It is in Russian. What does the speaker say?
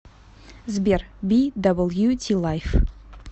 сбер би дабл ю ти лайф